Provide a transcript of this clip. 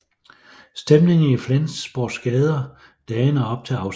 Stemningen i Flensborgs gader dagene op til afstemningen